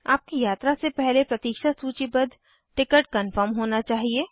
आपकी यात्रा से पहले प्रतीक्षा सूचीबद्ध टिकट कन्फर्म होना चाहिए